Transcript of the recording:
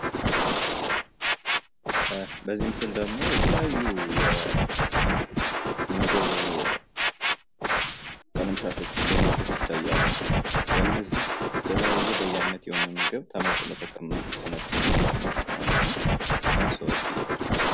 በዚህ ምስል ደሞ የተለያዩ የምግብ ቀለምሻቶች፣ ሌማቶች ይታያሉ ፤ በነዚህ የተለያየ በየአይነት የሆነ ምግብ ተመጥኖ ይቀመጣል ማለት ነው ፤ ከዛ ሰዎች እየገዙ ይመገባሉ።